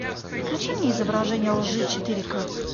включи мне изображение лжи четыре ка